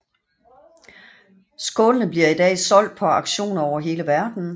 Skålene bliver i dag solgt på auktioner over hele verdenen